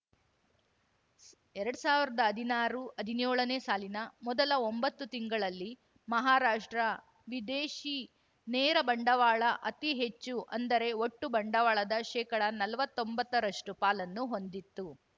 ಎರಡ್ ಸಾವಿರ್ದಾ ಹದಿನಾರುಹದಿನ್ಯೋಳನೇ ಸಾಲಿನ ಮೊದಲ ಒಂಬತ್ತು ತಿಂಗಳಲ್ಲಿ ಮಹಾರಾಷ್ಟ್ರ ವಿದೇಶಿ ನೇರ ಬಂಡವಾಳ ಅತಿ ಹೆಚ್ಚು ಅಂದರೆ ಒಟ್ಟು ಬಂಡವಾಳದ ಶೇಕಡ ನಲವತ್ತೊಂಬತ್ತರಷ್ಟು ಪಾಲನ್ನು ಹೊಂದಿತ್ತು